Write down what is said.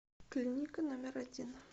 клиника номер один